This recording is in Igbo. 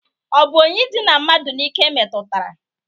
Ọ bụ onye idịna mmadụ n'ike metụtara?